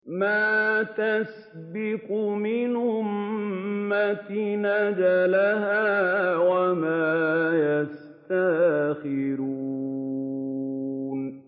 مَا تَسْبِقُ مِنْ أُمَّةٍ أَجَلَهَا وَمَا يَسْتَأْخِرُونَ